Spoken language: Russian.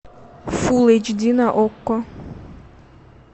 фулл эйч ди на окко